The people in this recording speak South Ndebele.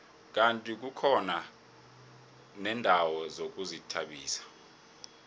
kandi kukhona neendawo zokuzithabisa